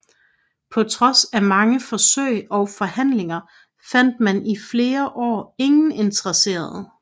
På trods af mange forsøg og forhandlinger fandt man i flere år ingen interesserede